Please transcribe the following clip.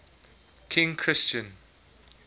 king christian